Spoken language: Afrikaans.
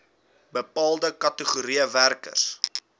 bepaalde kategorieë werkers